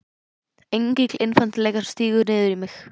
Engill einfaldleikans stígur niður í mig.